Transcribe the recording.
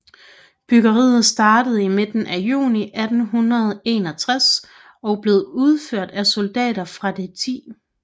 Byggeriet startede i midten af juni 1861 og blev udført af soldater fra det 10